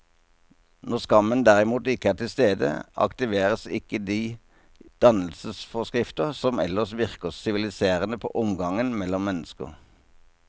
Når skammen derimot ikke er til stede, aktiveres ikke de dannelsesforskrifter som ellers virker siviliserende på omgangen mellom mennesker.